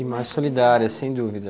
E mais solidária, sem dúvida.